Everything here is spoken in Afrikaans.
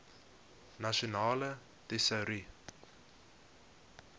nasionale tesourie